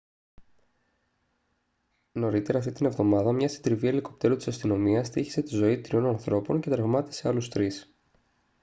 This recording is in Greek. νωρίτερα αυτήν την εβδομάδα μια συντριβή ελικόπτερου της αστυνομίας στοίχισε τη ζωή τριών ανθρώπων και τραυμάτισε άλλους τρεις